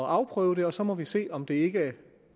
at afprøve det og så må vi se om det ikke